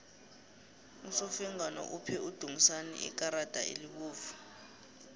usofengwana uphe udumisani ikarada elibovu